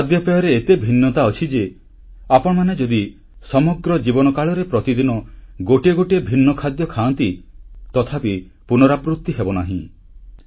ଖାଦ୍ୟପେୟରେ ଏତେ ଭିନ୍ନତା ଅଛି ଯେ ଆପଣମାନେ ଯଦି ସମଗ୍ର ଜୀବନ କାଳରେ ପ୍ରତିଦିନ ଗୋଟିଏ ଗୋଟିଏ ଭିନ୍ନ ଖାଦ୍ୟ ଖାଆନ୍ତି ତଥାପି ପୁନରାବୃତି ହେବନାହିଁ